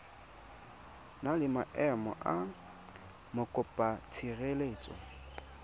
na le maemo a mokopatshireletso